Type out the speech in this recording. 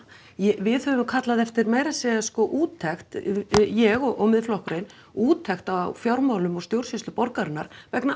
við höfum kallað eftir sko meira að segja úttekt ég og Miðflokkurinn úttekt á fjármálum og stjórnsýslu borgarinnar vegna